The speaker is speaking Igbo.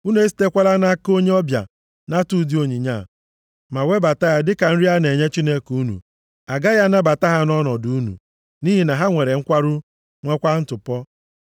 Unu esitekwala nʼaka onye ọbịa nata ụdị onyinye a, ma webata ya dịka nri a na-enye Chineke unu. A gaghị anabata ha nʼọnọdụ unu, nʼihi na ha nwere nkwarụ, nwekwa ntụpọ.’ ”